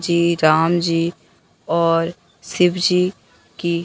श्री राम जी और शिवजी की--